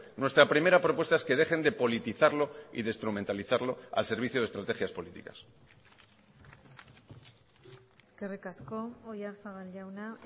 nuestra primera propuesta es que dejen de politizarlo y de instrumentalizarlo al servicio de estrategias políticas eskerrik asko oyarzabal jauna